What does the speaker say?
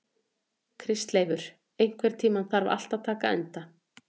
Kristleifur, einhvern tímann þarf allt að taka enda.